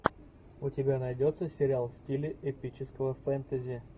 у тебя найдется сериал в стиле эпического фэнтези